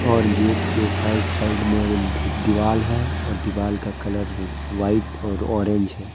और गेट के side- side में भी र दीवाल है और दीवाल का कलर वाइट और ऑरेंज है।